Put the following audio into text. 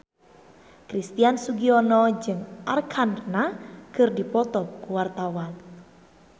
Christian Sugiono jeung Arkarna keur dipoto ku wartawan